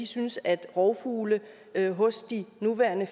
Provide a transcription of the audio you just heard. syntes at de rovfugle vi har hos de nuværende